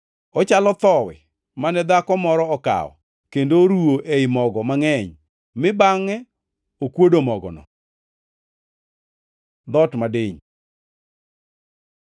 Ochalo thowi mane dhako moro okawo kendo oruwo ei mogo mangʼeny, mi bangʼe okuodo mogono.” Dhoot madiny